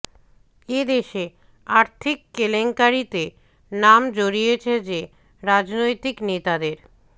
এ দেশে আর্থিক কেলেঙ্কারিতে নাম জড়িয়েছে যে রাজনৈতিক নেতাদের